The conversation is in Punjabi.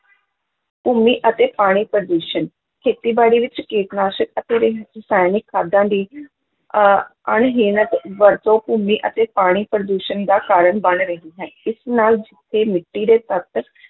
ਭੂਮੀ ਅਤੇ ਪਾਣੀ ਪ੍ਰਦੂਸ਼ਣ, ਖੇਤੀਬਾੜੀ ਵਿੱਚ ਕੀਟਨਾਸ਼ਕ ਅਤੇ ਰ~ ਰਸਾਇਣਿਕ ਖਾਦਾਂ ਦੀ ਅਹ ਅਣਹੀਣਤ ਵਰਤੋਂ ਭੂਮੀ ਅਤੇ ਪਾਣੀ ਪ੍ਰਦੂਸ਼ਣ ਦਾ ਕਾਰਨ ਬਣ ਰਹੀ ਹੈ, ਇਸ ਨਾਲ ਜਿੱਥੇ ਮਿੱਟੀ ਦੇ ਤੱਤ